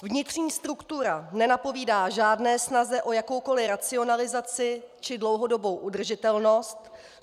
Vnitřní struktura nenapovídá žádné snaze o jakoukoli racionalizaci či dlouhodobou udržitelnost.